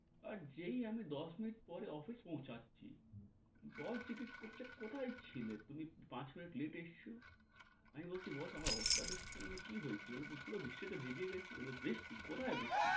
আর যেই আমি দশ মিনিট পরে অফিস পৌছাচ্ছি boss জিজ্ঞেস করছে কোথায় ছিলে তুমি? পাঁচ মিনিট late এ এসছো? আমি বলছি boss আমার অবস্থা দেখছেন কি হয়েছে পুরো বৃষ্টিতে ভিজে গেছি। বলে, বৃষ্টি কোথায় বৃষ্টি?